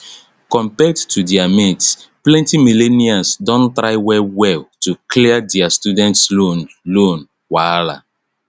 compared to their mates plenty millennials don try well well to clear their student loan loan wahala